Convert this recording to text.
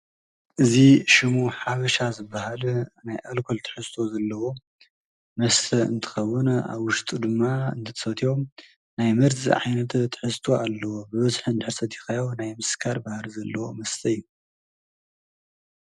እዚ ሽሙ ሓበሻ ዝበሃል ናይ ኣልኮል ትሕዝቶ ዘለዎ መስተ እንትከዉን ኣብ ዉሽጡ ድማ ክትሰዮ ናይ መርዚ ዓይነት ትሕዝቶ ኣለዎ ብበዝሒ እንድሕር ሰትካዮ ናይ ምስካር ባህሪ ዘለዎ መስተ እዩ ።